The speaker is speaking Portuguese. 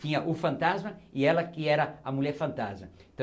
Tinha o fantasma e ela que era a mulher fantasma.